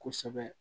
Kosɛbɛ